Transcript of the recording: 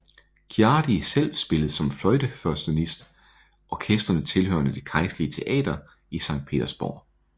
Ciardi selv spillede som førstefløjtenist i orkestrene tilhørende det kejserlige teater i Sankt Petersborg